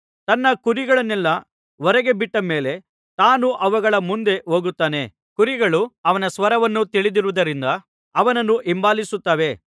ತನ್ನ ಕುರಿಗಳನ್ನೆಲ್ಲಾ ಹೊರಗೆ ಬಿಟ್ಟ ಮೇಲೆ ತಾನು ಅವುಗಳ ಮುಂದೆ ಹೋಗುತ್ತಾನೆ ಕುರಿಗಳು ಅವನ ಸ್ವರವನ್ನು ತಿಳಿದಿರುವುದರಿಂದ ಅವನನ್ನು ಹಿಂಬಾಲಿಸುತ್ತವೆ